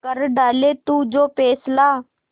कर डाले तू जो फैसला